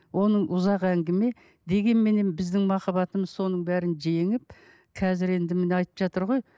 оның ұзақ әңгіме дегенменен біздің махаббатымыз соның бәрін жеңіп қазір енді міне айтып жатыр ғой